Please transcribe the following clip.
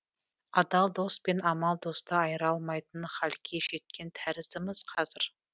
адал дос пен амал досты айыра алмайтын халге жеткен тәріздіміз қазір